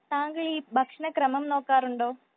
തങ്ങൾ ഈ ഭക്ഷണ ക്രമം നോക്കാറുണ്ടോ ?